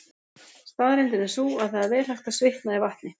Staðreyndin er sú að það er vel hægt að svitna í vatni.